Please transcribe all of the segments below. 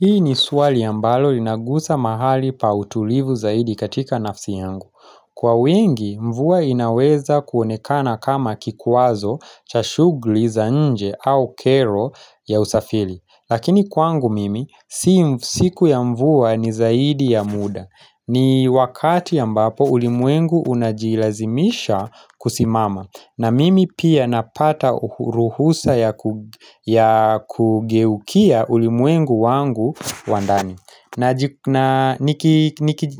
Hii ni swali ambalo linagusa mahali pa utulivu zaidi katika nafsi yangu. Kwa wingi, mvua inaweza kuonekana kama kikwazo cha shugli zanje au kero ya usafili. Lakini kwangu mimi, siku ya mvua ni zaidi ya muda. Ni wakati ambapo ulimwengu unajilazimisha kusimama. Na mimi pia napata ruhusa ya kugeukia ulimwengu wangu wa ndani na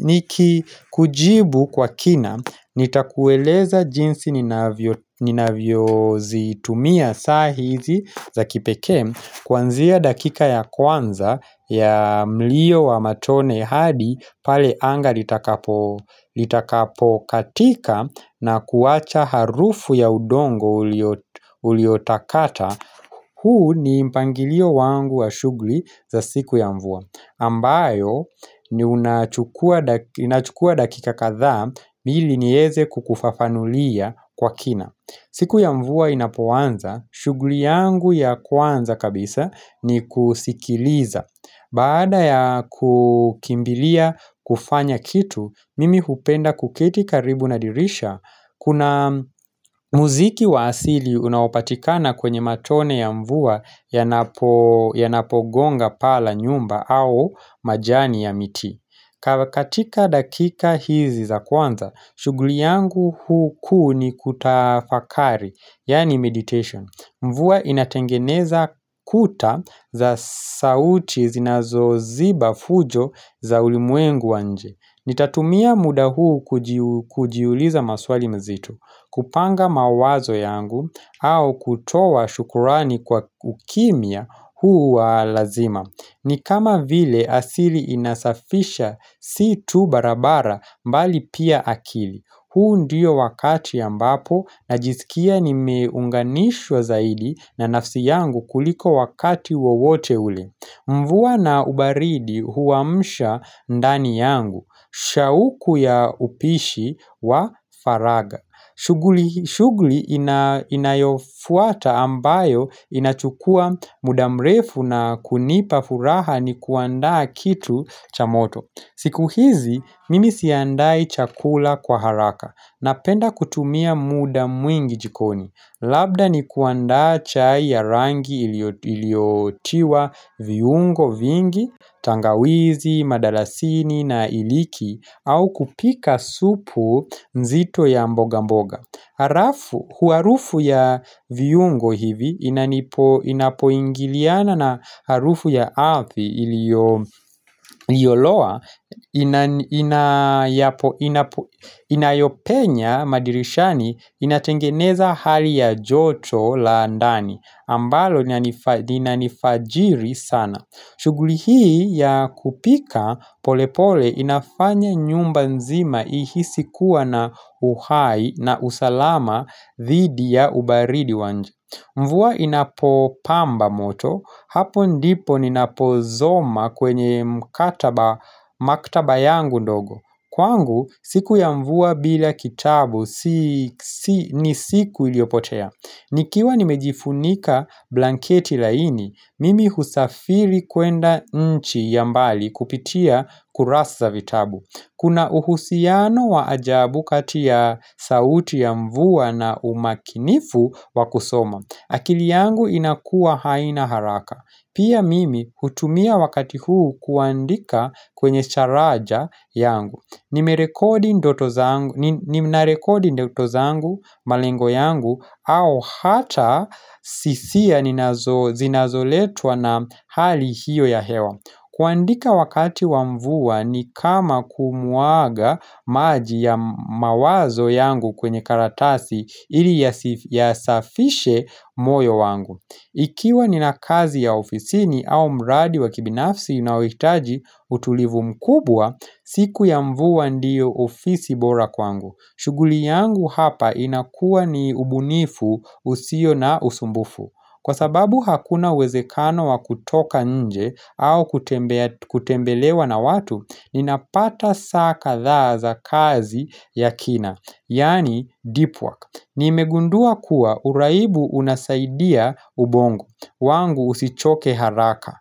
niki kujibu kwa kina nitakueleza jinsi ninavyo zitumia saa hizi za kipekee Kuanzia dakika ya kwanza ya mlio wa matone hadi pale anga litakapo katika na kuwacha harufu ya udongo uliotakata huu ni mpangilio wangu wa shugli za siku ya mvua ambayo ni unachukua dakika kadhaa ili nieze kukufafanulia kwa kina siku ya mvua inapoanza, shuguli yangu ya kwanza kabisa ni kusikiliza. Baada ya kukimbilia kufanya kitu, mimi hupenda kuketi karibu na dirisha, kuna muziki wa asili unaopatikana kwenye matone ya mvua yanapogonga paa la nyumba au majani ya miti. Kawa katika dakika hizi za kwanza, shuguli yangu hu kuu ni kutafakari, yani meditation. Mvua inatengeneza kuta za sauti zinazo ziba fujo za ulimwengu wa nje. Nitatumia muda huu kujiuliza maswali mzito. Kupanga mawazo yangu au kutoa shukurani kwa ukimya huu wa lazima. Ni kama vile asili inasafisha si tu barabara mbali pia akili. Huu ndiyo wakati ambapo najisikia nimeunganishwa zaidi na nafsi yangu kuliko wakati wawote ule. Mvua na ubaridi huwamsha ndani yangu, shauku ya upishi wa faraga. Shuguli inayofuata ambayo inachukua mudamrefu na kunipa furaha ni kuandaa kitu cha moto. Siku hizi, mimi siandai chakula kwa haraka napenda kutumia muda mwingi jikoni. Labda ni kuandaa chai ya rangi iliotiwa viungo vingi, tangawizi, madalasini na iliki au kupika supu nzito ya mboga mboga. Huarufu ya viyungo hivi inapoingiliana na harufu ya ardhi iliyoloa inayopenya madirishani inatengeneza hali ya joto la andani ambalo linanifajiri sana. Shuguli hii ya kupika polepole inafanya nyumba nzima ihisi kuwa na uhai na usalama dhidi ya ubaridi wa nje. Mvua inapo pamba moto, hapo ndipo ninapo zoma kwenye mkataba maktaba yangu ndogo. Kwangu, siku ya mvua bila kitabu ni siku iliopotea. Nikiwa nimejifunika blanketi laini, mimi husafiri kuenda nchi ya mbali kupitia kurasa vitabu. Kuna uhusiano wa ajabu kati ya sauti ya mvua na umakinifu wa kusoma. Akili yangu inakua haina haraka. Pia mimi hutumia wakati huu kuandika kwenye charaja yangu. Nime rekodi ndoto zangu malengo yangu au hata sisia zinazoletwa na hali hiyo ya hewa kuandika wakati wa mvua ni kama kumuaga maji ya mawazo yangu kwenye karatasi ili yasafishe moyo wangu Ikiwa nina kazi ya ofisini au mradi wa kibinafsi inaoikitaji utulivu mkubwa, siku ya mvua ndiyo ofisi bora kwangu. Shuguli yangu hapa inakua ni ubunifu usio na usumbufu. Kwa sababu hakuna uwezekano wa kutoka nje au kutembelewa na watu, ninapata saa kadhaa za kazi ya kina, yani deep work. Nimegundua kuwa uraibu unasaidia ubongo, wangu usichoke haraka.